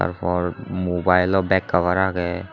tar por mobilelow back cover aagey.